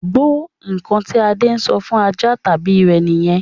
Gbó! Ǹkan tí Adé ṣọ fún ajá tàbí rẹ̀ nìyẹn